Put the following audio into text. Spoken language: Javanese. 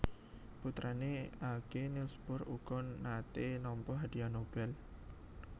Putrané Aage Niels Bohr uga naté nampa Hadiah Nobel